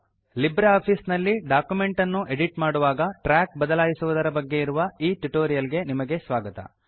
Libre Office ನಲ್ಲಿ document ಅನ್ನು edit ಮಾಡುವಾಗ ಟ್ರ್ಯಾಕ್ ಬದಲಾಯಿಸುವುದರ ಬಗ್ಗೆ ಇರುವ ಈ ಟ್ಯುಟೋರಿಯಲ್ ಗೆ ನಿಮಗೆ ಸ್ವಾಗತ